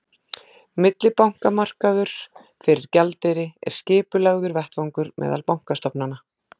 millibankamarkaður fyrir gjaldeyri er skipulagður vettvangur meðal bankastofnana